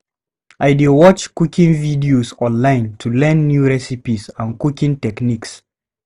I dey watch cooking videos online to learn new recipes and cooking techniques.